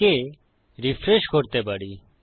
একে রিফ্রেশ করতে পারি